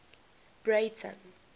breyten